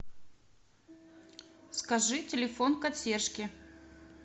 скажи телефон консьержки